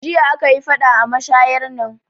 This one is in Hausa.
Jiya aka yi faɗa a mashayar nan